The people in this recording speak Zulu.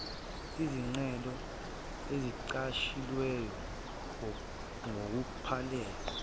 izicelo ezingagcwalisiwe ngokuphelele